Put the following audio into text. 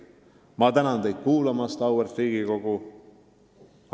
Ma tänan teid kuulamast, austatud Riigikogu!